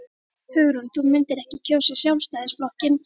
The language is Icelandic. Hugrún: Þú myndir ekki kjósa Sjálfstæðisflokkinn?